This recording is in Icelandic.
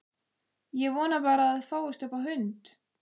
Ég vona bara að það fáist upp á hund!